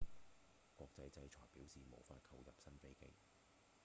國際制裁表示無法購入新飛機